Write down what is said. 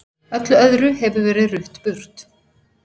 Öllu öðru hefur verið rutt burt.